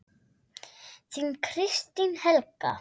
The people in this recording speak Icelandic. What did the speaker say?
Þín, Kristín Helga.